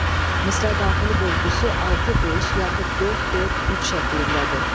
Misra daxili bölgüsü 6-5 yaxud 4-4-3 şəklindədir.